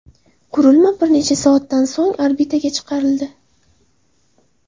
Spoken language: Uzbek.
Qurilma bir necha soatdan so‘ng orbitaga chiqarildi.